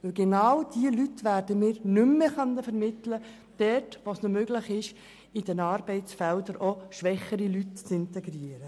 Genau diese Leute werden wir nicht mehr an diese Stellen vermitteln können, also an diejenigen Institutionen, denen es möglich ist, in den Arbeitsfeldern auch schwächere Leute zu integrieren.